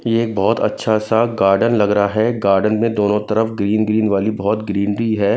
ये एक बहोत अच्छा सा गार्डन लग रहा है गार्डन में दोनों तरफ ग्रीन ग्रीन वाली बहोत ग्रीनरी है।